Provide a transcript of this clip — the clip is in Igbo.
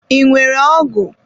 I nwere ọgụ?